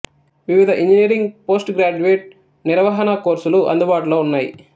వివిధ engineering post graduate నిర్వహణ కోర్సులు అందుబాటులో ఉన్నాయి